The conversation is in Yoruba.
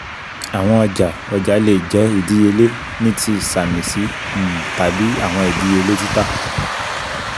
awọn ọja-ọja le jẹ idiyele ni ti samisi um tabi awọn idiyele tita